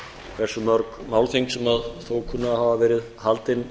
hversu mörg málþing sem þó kunna að hafa verið haldin